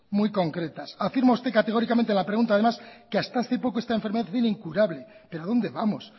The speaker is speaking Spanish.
muy concretas afirma usted categóricamente a la pregunta además que hasta hace poco esta enfermedad viene incurable pero a dónde vamos